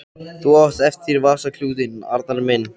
Þú mátt hafa vasaklútinn, Arnar minn!